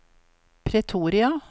Pretoria